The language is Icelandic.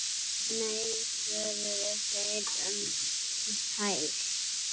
Nei svöruðu þeir um hæl.